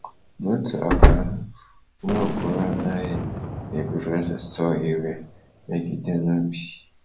N'otu aka ahụ, Nwaokolo anaghị eburu eze Saul iwe megide n'obi.